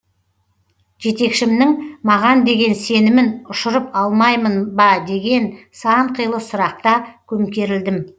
жетекшімнің маған деген сенімін ұшырып алмаймын ба деген сан қилы сұрақта көмкерілдім